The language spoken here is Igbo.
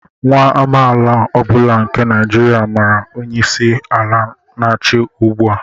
Nwa amaala ọ bụla nke Naijiria màrà onye isi ala n'achị ugbua